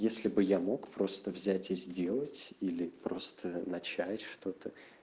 если бы я мог просто взять и сделать или просто начать что-то